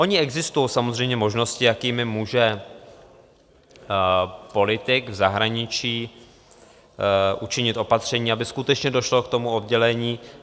Ony existují samozřejmě možnosti, jakými může politik v zahraničí učinit opatření, aby skutečně došlo k tomu oddělení.